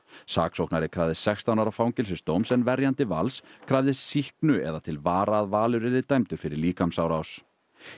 saksóknari krafðist sextán ára fangelsisdóms en verjandi Vals krafðist sýknu eða til vara að Valur yrði dæmdur fyrir líkamsárás